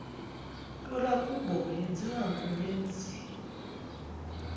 kwelakubo yenziwa ngumenzi